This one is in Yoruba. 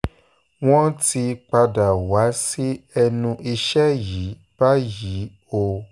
wọ́n ti padà wá sí ẹnu iṣẹ́ yìí báyìí o